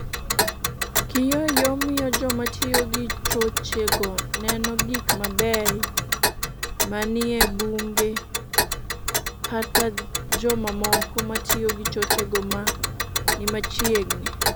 Kiyoyo miyo joma tiyo gi choche go neno gik mabeyo ma ni e bunge kata jomamoko ma tiyo gi choche ma ni machiegni.